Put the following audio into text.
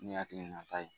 Ne hakilinata ye